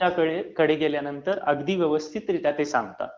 त्यांच्याकडे गेल्यानंतर अगदी व्यवस्थितरीत्या ते सांगतात.